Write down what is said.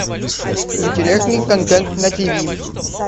интересный контент на тв